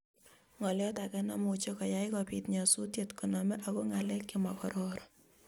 ngolyot age nemuch koyaii kobiit nyasusiet koname ago ngalek chemagororon